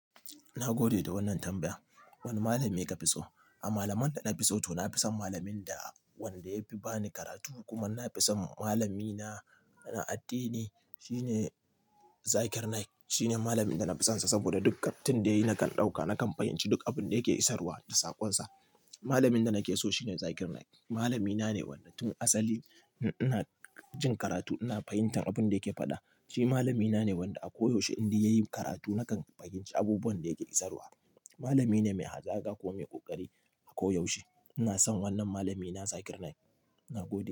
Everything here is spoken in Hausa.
Na gode da wannan tambaya. Wane malami ka fi so? A malaman da na fi so to na fi son malamin da wanda ya fi ba ni karatu kuma na fi son malamina na addini. Shi ne Zakir Naik. Shi ne malamin da na fi sonsa saboda duk tin da yayi na kan ɗauka nakan fahimci duk abin da yake isarwa da saƙonsa. Malamin da nake so shi ne Zakir Naik. Malamina ne wanda tun asali in ina jin karatu ina fahimtan abin da yake faɗa. Shi malamina ne wanda a koyaushe inde yayi karatu nakan fahimci abubuwan da yake isarwa. Malamine mai hazaka kuma mai ƙoƙari a koyaushe. Ina son wannan malamina Zakir Naik. Na gode.